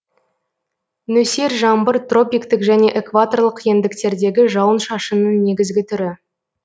нөсер жаңбыр тропиктік және экваторлық ендіктердегі жауын шашынның негізгі түрі